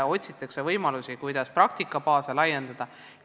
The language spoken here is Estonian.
Otsitakse võimalusi, kuidas praktikabaase laiendada.